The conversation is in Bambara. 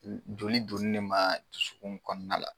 U joli donni de maa dusukun kɔɔna la